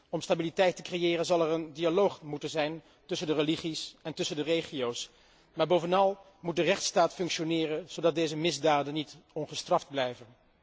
Om stabiliteit te creëren zal er een dialoog moeten zijn tussen de religies en tussen de regio's, maar bovenal moet de rechtsstaat functioneren zodat deze misdaden niet ongestraft blijven.